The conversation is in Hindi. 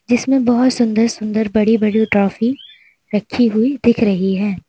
जिसमें बहोत सुंदर सुंदर बड़ी बड़ी ट्रॉफी रखी हुई दिख रही है।